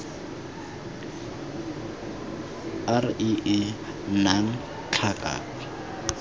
r e e nnang tlhaka